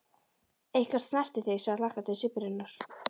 Eitthvað snerti þig, sagði hlakkandi svipur hennar.